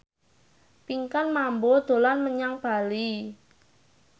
Pinkan Mambo dolan menyang Bali